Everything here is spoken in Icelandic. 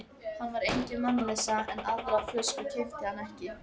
Hann var engin mannleysa, en aðra flösku keypti hann ekki.